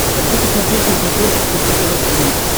хочу посмотреть на смотрешке фэшен тв четыре к